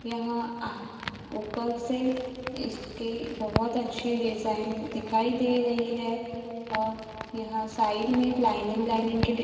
यहां आ ऊपर से इसके बहुत अच्छे डिजाइन दिखाई दे रही है और यहां साइड में लाइनिंग लाइनिंग के ड --